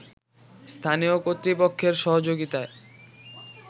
স্থানীয় কর্তৃপক্ষের সহযোগিতায়